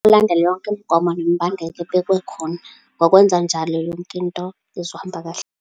Ulandele yonke imigomo nemibandela ebekwe khona. Ngokwenza njalo, yonke into izohamba kahle.